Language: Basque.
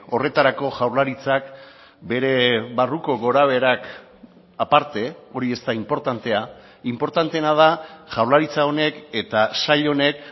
horretarako jaurlaritzak bere barruko gorabeherak aparte hori ez da inportantea inportanteena da jaurlaritza honek eta sail honek